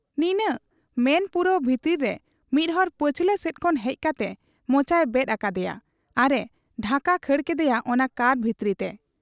ᱱᱤᱱᱟᱹᱜ ᱢᱮᱱ ᱯᱩᱨᱟᱹᱣ ᱵᱷᱤᱛᱤᱨ ᱨᱮ ᱢᱤᱫ ᱦᱚᱲ ᱯᱟᱹᱪᱷᱞᱟᱹ ᱥᱮᱫ ᱠᱷᱚᱱ ᱦᱮᱡ ᱠᱟᱴᱮ ᱢᱚᱪᱟᱭ ᱵᱮᱫ ᱟᱠᱟᱫ ᱮᱭᱟ ᱟᱨ ᱮ ᱰᱷᱟᱠᱟ ᱠᱷᱟᱹᱲ ᱠᱮᱫᱮᱭᱟ ᱚᱱᱟ ᱠᱟᱨ ᱵᱷᱤᱛᱤᱨᱛᱮ ᱾